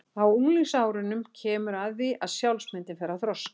Á unglingsárunum kemur að því að sjálfsmyndin fer að þroskast.